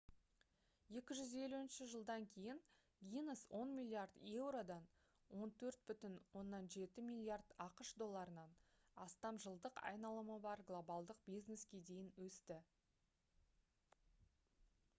250 жылдан кейін гиннес 10 миллиард еуродан 14,7 миллиард ақш долларынан астам жылдық айналымы бар глобалдық бизнеске дейін өсті